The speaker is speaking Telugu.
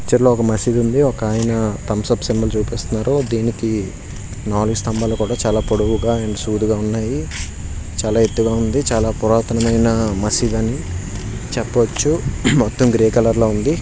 పిక్చర్ లో ఒక మసీదు ఉంది. ఒకాయన తంసప్ సింబల్ చూపిస్తున్నారు. దీనికి నాలుగు స్తంభాలు కూడా చాలా పొడవుగా అండ్ సూటిగా ఉన్నాయి. చాలా ఎత్తుగా ఉంది. చాలా పురాతనమైన మసీదు అని చెప్పొచ్చు. మొత్తం గ్రే కలర్ లో ఉంది.